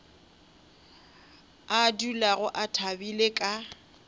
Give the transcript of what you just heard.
a dulago a thabile ka